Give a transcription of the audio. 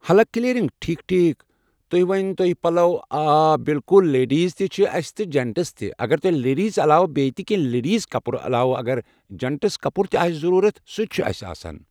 حلق کٔلیرینگ ٹھیٖک ٹھیٖک تُہۍ ؤنۍ تو یہِ پَلو آ بالکُل لیڈیٖز تہِ چھَ اَسہِ تہٕ جَنٹٕز تہِ اگر تۄہہِ لیڈیٖز عَلاوٕ بیٚیہِ تہِ کینٛہہ لیڈیٖز کَپرٕ علاوٕ اگر جَنٹٕز کَپُر تہِ آسہِ ضروٗرت سُہ تہِ چھِ اَسہِ آسان۔